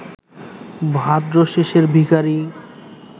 ভাদ্রশেষের ভিখারী